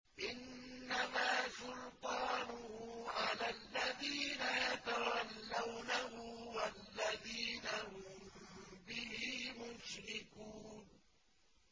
إِنَّمَا سُلْطَانُهُ عَلَى الَّذِينَ يَتَوَلَّوْنَهُ وَالَّذِينَ هُم بِهِ مُشْرِكُونَ